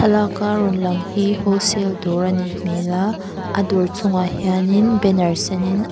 thlalaka rawn lang hi whole sale dawr a nih hmel a a dawr chungah hianin banner senin an --